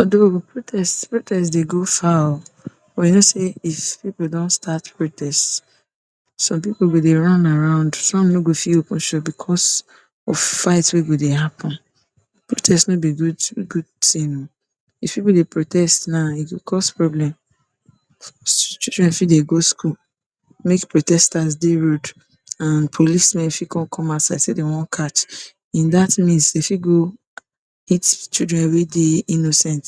Although protest protest dey go far o. But you know sey if pipu don start protest, some pipu go dey run around, some no go fit open shop because of fight wey go dey happen. Protest no be good good thing oo. If pipu dey protest now e go cause problem, children fit dey go school make protesters dey road and policemen fit con come outside sey dey want catch in dat means dey fit go hit children wey dey innocent,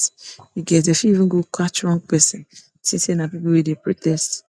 e get dey fit even go catch wrong person think sey na pipu wey dey protest.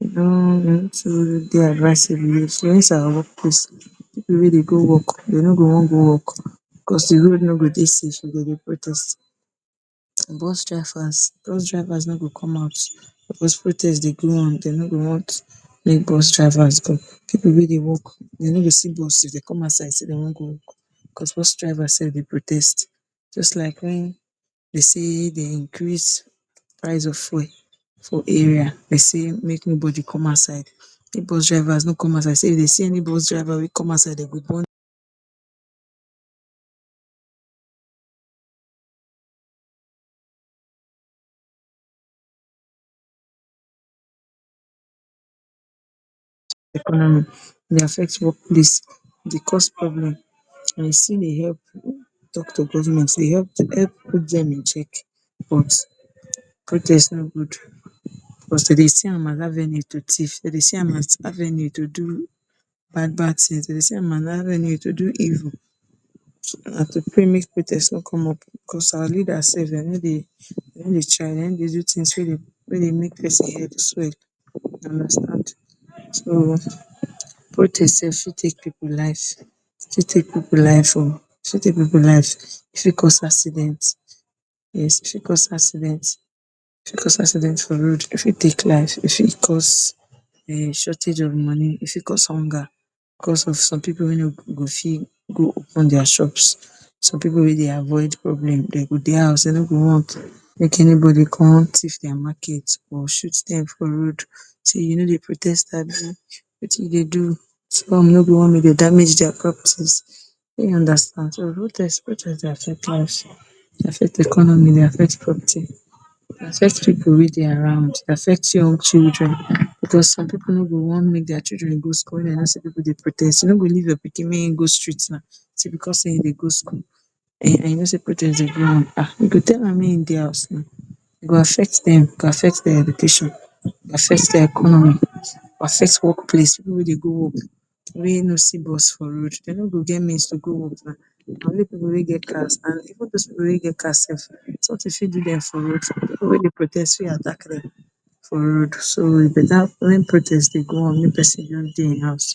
no too dey advisable dey influence our workplace, pipu wey dey go work dey no go want go work because de road no go de safe dey go dey protest. Bus drivers dose drivers no go come out because protest dey go on dey no go want may bus drivers go. pipu wey dey work dey no go see bus dey dey come outside want go work, because bus drivers self dey protest just like when dey say dey increase price of fuel for area, dey say make nobody come outside make bus drivers no come outside sey dey say if dey see any bus driver wey come outside dey go burn economy e dey affect workplace, e dey cause problem and e still dey help talk to government e help to put dem in check but protest no good. Because dey dey see am as avenue to thief. Dey dey see am as avenue to do bad bad things, dey dey see am as avenue to do evil. Na to pray make protest no come up because our leaders self dey no dey dey no dey try dey no dey do good things wey dey make person head swell. You, so protest self fit take pipu life, e fit take pipu life o e fit take pipu life e fit cause accident, yes, e fit cause accident e fit cause accident for road e fit take life e fit cause um shortage of money e fit cause hunger because of some pipu wey no go fit go open dia shops. some pipu wey dey avoid problem dey go dey house dey no go want make anybody con thief dia market or shoot dem for road. Sey you no dey protest abi, wetin you dey do, damage dia properties you understand, protest dey affect life e dey affect economy e dey affect property e dey affect pipu wey dey around e dey affect young children because some pipu no go want make dia children go school when dey know sey pipu dey protest you no go leave your pikin may ein go street na because sey in dey go school and you know sey protest dey go on um you go tell am may in dey house now, e go affect dem e go affect dem, e go affect dia education e go affect dia economy, affect workplace, pipu wey dey go work wey no see bus for road dey no go get means to go work na na only pipu wey get cars and even dose people wey get car self, something fit do dem for road, pipu wey dey protest fit attack dem for road so e beta when protest dey go on may person just dey in house